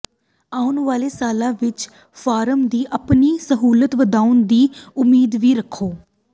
ਆਉਣ ਵਾਲੇ ਸਾਲਾਂ ਵਿਚ ਫਾਰਮ ਦੀ ਆਪਣੀ ਸਹੂਲਤ ਵਧਾਉਣ ਦੀ ਉਮੀਦ ਵੀ ਰੱਖੋ